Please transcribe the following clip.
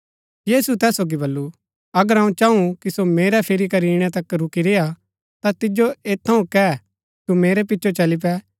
यीशुऐ तैस सोगी बल्लू अगर अऊँ चाँऊ कि सो मेरै फिरी करी ईणै तक रूकी रेय्आ ता तिजो ऐत थऊँ कै तू मेरै पिचो चली पे